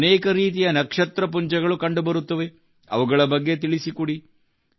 ಅನೇಕ ರೀತಿಯ ನಕ್ಷತ್ರ ಪುಂಜಗಳು ಕಂಡುಬರುತ್ತವೆ ಅವುಗಳ ಬಗ್ಗೆ ತಿಳಿಸಿಕೊಡಿ